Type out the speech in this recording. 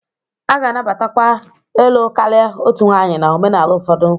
A ga-anabatakwa ịlụ karịa otu nwanyị na omenala ụfọdụ.